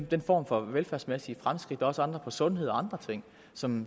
den form for velfærdsmæssige fremskridt også andre for sundhed og andre ting som